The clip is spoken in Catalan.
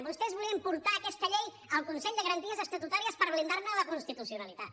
vostès volien portar aquesta llei al consell de garanties estatutàries per blindarne la constitucionalitat